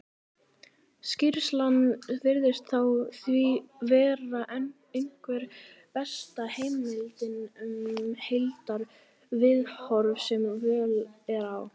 skýrslan virðist því vera einhver besta heimildin um heildarviðhorf sem völ er á